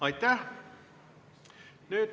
Aitäh!